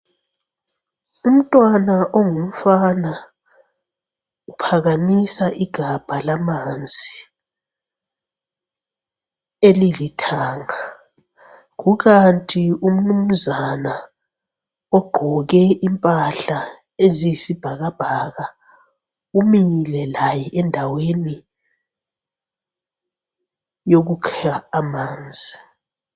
Umntwana ongumfana uphakamisa igabha lamanzi elilithanga. Kukanti umnumzana ogqoke impahla eziyisibhakabhaka umile laye endaweni yokukha amanzi.